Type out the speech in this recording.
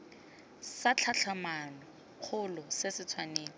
sa tlhatlhamano kgolo se tshwanetse